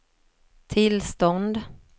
tillstånd